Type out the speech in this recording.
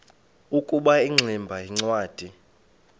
ukuba ingximba yincwadi